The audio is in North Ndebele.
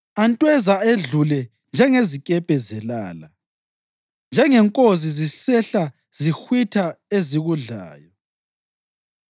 Antweza edlule njengezikepe zelala, njengenkozi zisehla zihwitha ezikudlayo.